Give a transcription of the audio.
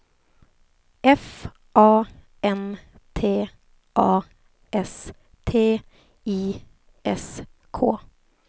F A N T A S T I S K